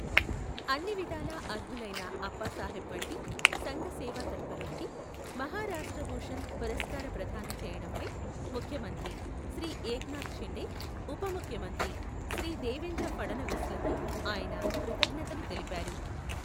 అన్నివిధాలా అర్హులైన అప్పాసాహెబ్ వంటి సంఘసేవా తత్పరుడికి మహారాష్ట్ర భూషణ్ పురస్కార ప్రదానం చేయడంపై ముఖ్యమంత్రి శ్రీ ఏక్నాథ్ షిండే, ఉప ముఖ్యమంత్రి శ్రీ దేవేంద్ర ఫడణవీస్లకు ఆయన కృతజ్ఞతలు తెలిపారు.